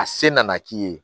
A se nana k'i ye